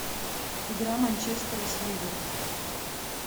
игра манчестера с ливером